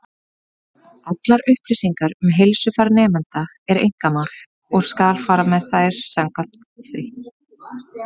Allar upplýsingar um heilsufar nemenda eru einkamál, og skal fara með þær samkvæmt því.